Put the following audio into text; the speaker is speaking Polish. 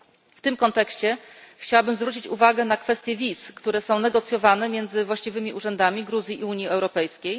W tym kontekście chciałabym zwrócić uwagę na kwestię wiz, które są negocjowane między właściwymi urzędami Gruzji i Unii Europejskiej.